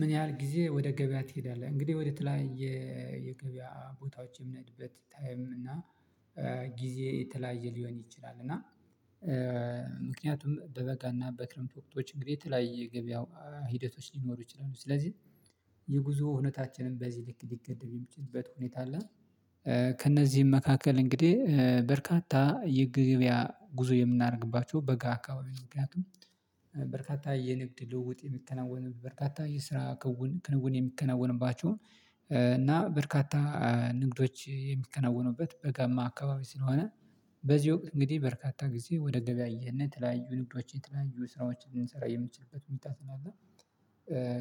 ምን ያህል ጊዜ ወደ ገበያ ትሄዳለህ? እንግዲህ ወደ ተለያየ የገበያ ቦታዎች የምነድበት ታይም እና ጊዜ የተለያየ ሊሆን ይችላል እና ምክንያቱም በበጋና በክረምት ወቅቶች እንግዲህ የተለያየ ገበያው ሂደቶች ሊኖሩ ይችላሉ ስለዚህ የጉዞ እውነታችንን በዚህ ልክ ሊገድብም የሚችልበት ሁኔታ አለ። ከእነዚህም መካከል እንግዲህ በርካታ የገብያ ጉዞ የምናደርግባቸው በጋ አካባቢ ምክንያቱም በርካታ የንግድ ልውውጥ የሚከናወንባቸው በርካታ የስራ ክውን ክንውን የሚከናወንባቸው እና በርካታ ንግዶች የሚከናወኑበት በጋማ አካባቢ ስለሆነ በዚህ ወቅት እንግዲህ በርካታ ጊዜ ወደ ገበያ እየሄድን የተለያዩ ንግዶችን የተለያዩ ስራዎችን ልንሰራ የምንችልበት ሁኔታ ስለ አለ።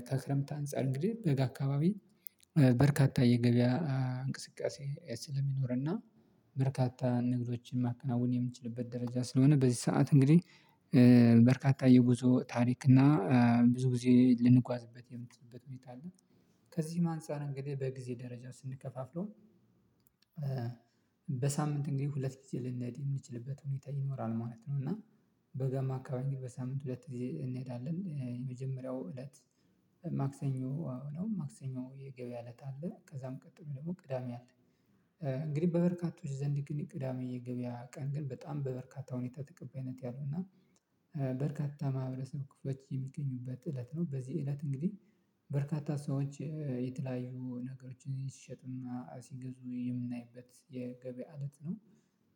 ከክረምት አንፃር እንግዲህ በጋ አካባቢ በርካታ የገበያ እንቅስቃሴ ስለሚኖር እና በርካታ ንግዶችን ማከናወን የምንችልበት ደረጃ ስለሆነ በዚህ ሰዓት እንግዲህ በርካታ የጉዞ ታሪክ እና ብዙ ጊዜ ልንጓዝበት የምችልበት ሁኔታ አለ። ከዚህም አንፃር እንግዲህ በጊዜ ደረጃ ስንከፋፍለው በሳምንት እንግዲህ ሁለት ጊዜ ልንሄድ የምንችልበት ሁኔታ ይኖራል ማለት ነው። እና በጋማ አካባቢ ግን በሳምንት ሁለት ጊዜ እንሄዳለን የመጀመሪያው እለት ማክሰኞ ነው ማክሰኞ የገበያ እለት አለ ከዛም ቀጥሎ ደግሞ ቅዳሜ አለ። እንግዲህ በበርካቶች ዘንድ ግን ቅዳሜ የገበያ ቀን ግን በጣም በበርካታ ሁኔታ ተቀባይነት ያለው እና በርካታ ማህበረሰብ ክፍሎች የሚገኙበት እለት ነው በዚህ እለት እንግዲህ በርካታ ሰዎች የተለያዩ ነገሮችን ሲሸጥና ሲገዙ የምናይበት የገበያ እለት ነው።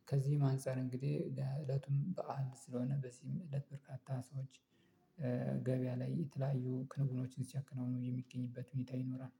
ከዚህም አንፃር እንግዲህ እለቱም በዓል ስለሆነ በዚህም እለት በርካታ ሰዎች ገበያ ላይ የተለያዩ ክንውኖችን ሲያከናውኑ የሚገኝበት ሁኔታ ይኖራል